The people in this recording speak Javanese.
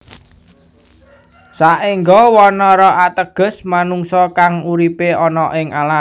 Saengga Wanara ateges manungsa kang uripe ana ing alas